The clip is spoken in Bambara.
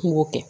N b'o kɛ